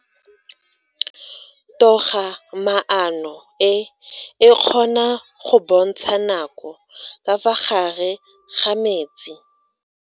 Toga-maano e, e kgona go bontsha nako ka fa gare ga metsi.